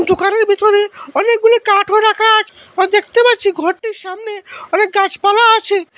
দোকানের ভিতরে অনেকগুলি কাঠও রাখা আছ হো দেখতে পাচ্ছি ঘরটির সামনে অনেক গাছপালা আছে।